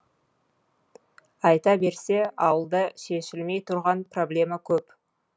айта берсе ауылда шешілмей тұрған проблема көп